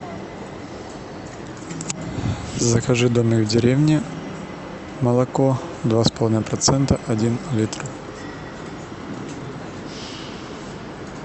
закажи домик в деревне молоко два с половиной процента один литр